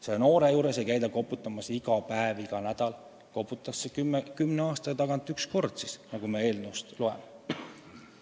Selle noore juures ei käida iga päev ega iga nädal koputamas – koputatakse kümne aasta tagant üks kord, nagu me eelnõust loeme.